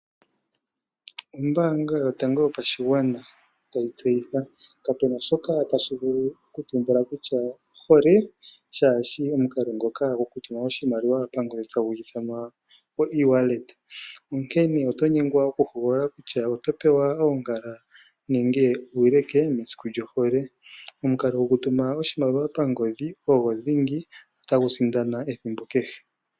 Ombaanga yotango yopashigwana tayi tseyitha. Kapu na shoka tashi vulu okutumbula kutya ohole kaashi shi omukalo ngoka gokutuma oshimaliwa pangodhi, onkene oto nyengwa okuhogolola kutya oto pewa oongala nenge uuleke mesiku lyohole. Omukalo gokutuma oshimaliwa pangodhi ogo dhingi tagu sindana ethimbo kehe.